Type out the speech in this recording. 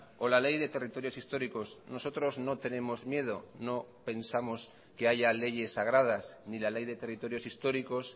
o la ley de territorios históricos nosotros no tenemos miedo no pensamos que haya leyes sagradas ni la ley de territorios históricos